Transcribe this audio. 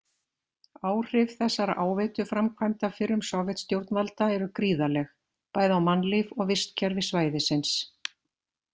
Áhrif þessara áveituframkvæmda fyrrum Sovétstjórnvalda eru gríðarleg, bæði á mannlíf og vistkerfi svæðisins.